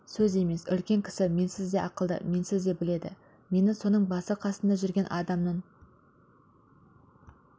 сөз емес үлкен кісі менсіз де ақылды менсіз де біледі мені соның басы қасында жүрген адамның